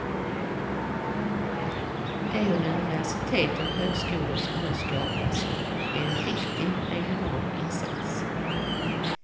De universitet och högskolor som nu skapas är en viktig regional insats.